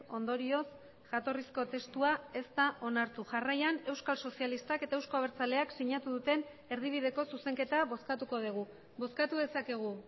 ondorioz jatorrizko testua ez da onartu jarraian euskal sozialistak eta euzko abertzaleak sinatu duten erdibideko zuzenketa bozkatuko dugu bozkatu dezakegu